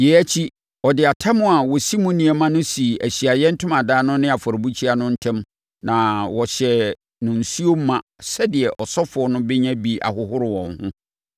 Yei akyi, ɔde atam a wɔsi mu nneɛma no sii Ahyiaeɛ Ntomadan no ne afɔrebukyia no ntam na wɔhyɛɛ no nsuo ma sɛdeɛ asɔfoɔ no bɛnya bi ahohoro wɔn ho.